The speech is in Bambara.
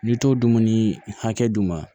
N'i t'o dumuni hakɛ d'u ma